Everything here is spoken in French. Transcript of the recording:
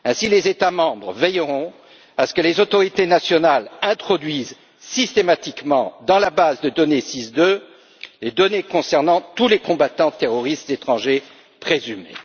Les États membres veilleront ainsi à ce que les autorités nationales introduisent systématiquement, dans la base de données SIS II, les données concernant tous les combattants terroristes étrangers présumés.